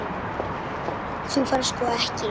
Þú færð sko ekki.